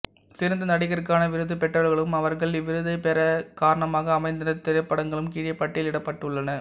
சிறந்த நடிகருக்கான விருது பெற்றவர்களும் அவர்கள் இவ்விருதைப் பெற காரணமாக அமைந்த திரைப்படங்களும் கீழே பட்டியலிடப்பட்டுள்ளன